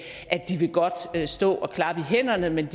at de godt vil stå og klappe i hænderne men